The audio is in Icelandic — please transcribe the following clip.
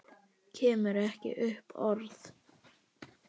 Kemur ekki upp orði.